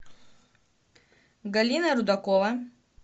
галина рудакова